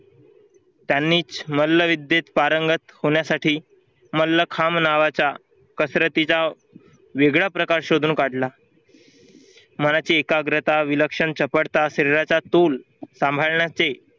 त्यांनीच मल्लविद्येत पारंगत होण्यासाठी मल्लखांब नावाचा कसरतीचा वेगळा प्रकार शोधून काढला. मराठी एकाग्रता विलक्षण सापडता शरीराचा तोल सांभाळण्याचे